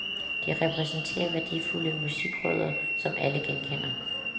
De repræsenterer værdifulde musikrødder, som alle genkender.